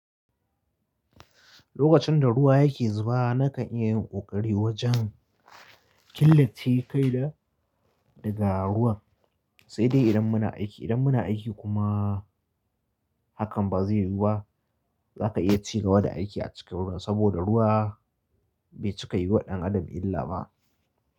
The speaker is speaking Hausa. Lokacin da ruwa yake zuba nakan iya yin ƙoƙari wajen killace kaina daga ruwan sai dai idan muna aiki. Idan muna aiki kuma hakan ba zai yiwu ba. Za ka iya ci gaba da aiki a cikin ruwan saboda ruwa bai cika yi waɗannan Adam illa ba.